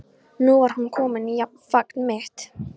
Nú var hún komin í fang mitt.